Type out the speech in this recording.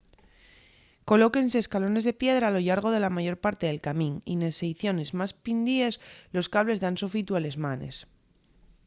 colóquense escalones de piedra a lo llargo de la mayor parte del camín y nes seiciones más pindies los cables dan sofitu a les manes